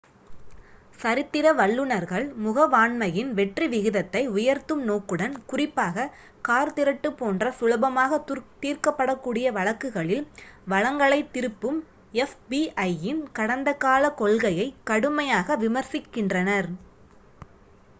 சரித்திர வல்லுனர்கள் முகவாண்மையின் வெற்றி விகிதத்தை உயர்த்தும் நோக்குடன் குறிப்பாக கார் திருட்டு போன்ற சுலபமாக தீர்க்கப்படக் கூடிய வழக்குகளில் வளங்களைத் திருப்பும் எஃப்பிஐயின் கடந்த காலக் கொள்கையை கடுமையாக விமரிசிக்கின்றனர்